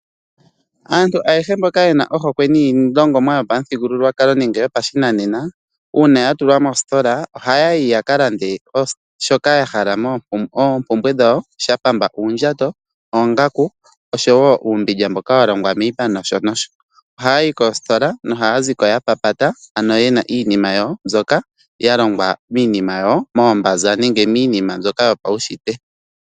Aantu ayehe ye na ohokwe niilongomwa yopamuthigululwakalo nenge yopashinanena, uuna ya tulwa moositola ohaya yi yaka lande shoka ya hala, oompumbwe dhawo ngaa shapamba ngaashi oondjato, oongaku, osho wo uumbundja mboka wa longwa miipa nosho nosho. Ohaya yi koositola nohaya ziko ya papata ano, ye na iinima mboka ya longwa minima yawo moombanza nenge miinima yopawushitwe.